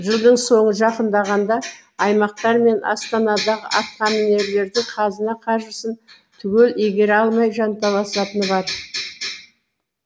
жылдың соңы жақындағанда аймақтар мен астанадағы атқамінерлердің қазына қаржысын түгел игере алмай жанталасатыны бар